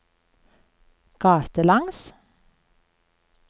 gatelangs